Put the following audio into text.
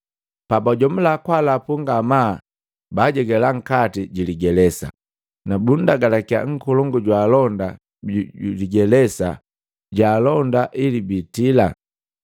Pabajomula kwaalapu ngamaa baajegala nkati jiligelesa, na baalagalakia nkolongu jwa alonda biligelesa baalonda ili biitila.